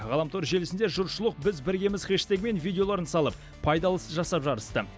ғаламтор желісінде жұртшылық біз біргеміз хэштегімен видеоларын салып пайдалы іс жасап жарысты